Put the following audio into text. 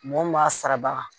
Mɔgɔ min b'a sarabaga.